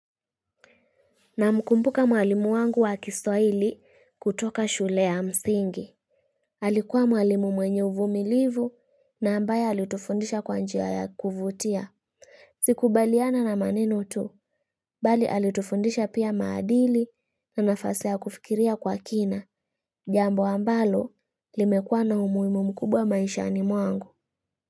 Namkumbuka mwalimu wangu wa kiswahili kutoka shule ya msingi. Alikuwa mwalimu mwenye uvumilivu, na ambaye alitufundisha kwa njia ya kuvutia. Sikubaliana na manenu tu, bali alitufundisha pia maadili na nafasi ya kufikiria kwa kina, jambo ambalo limekuwa na umuhimu mkubwa maishani mwangu.